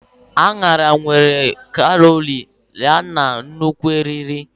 Añara nwere obere kalori yana nnukwu eriri.